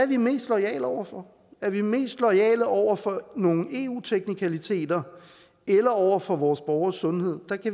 vi mest loyale over for er vi mest loyale over for nogle eu teknikaliteter eller over for vores borgeres sundhed